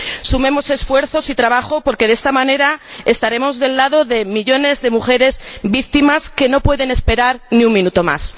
Sumemos esfuerzos y trabajo porque, de esta manera, estaremos del lado de millones de mujeres víctimas que no pueden esperar ni un minuto más.